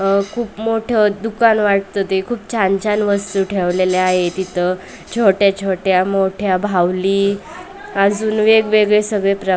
अंह खूप मोठं दुकान वाटत ते खूप छान छान वस्तू ठेवलेले आहेत इथं छोट्या छोट्या मोठ्या बाहुली अजून वेगवेगळे सगळे प्र --